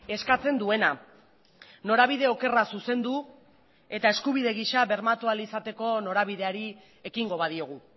eskatzen duena norabide okerra zuzendu eta eskubide gisa bermatu ahal izateko norabideari ekingo badiogu